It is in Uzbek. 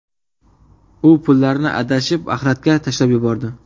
U pullarni adashib axlatga tashlab yubordi.